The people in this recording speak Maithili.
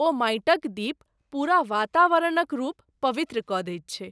ओ माटिक दीप पूरा वातावरणक रूप पवित्र कऽ दैत छै।